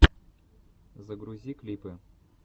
загрузи клипы